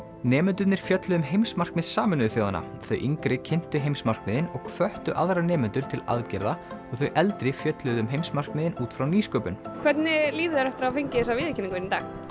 nemendurnir fjölluðu um heimsmarkmið Sameinuðu þjóðanna þau yngri kynntu heimsmarkmiðin og hvöttu aðra nemendur til aðgerða og þau eldri fjölluðu um heimsmarkmiðin út frá nýsköpun hvernig líður þér eftir að hafa fengið þessa viðurkenningu